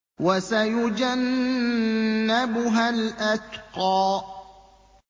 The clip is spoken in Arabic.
وَسَيُجَنَّبُهَا الْأَتْقَى